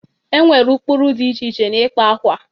E nwere ụkpụrụ dị iche iche n'ịkpa akwa.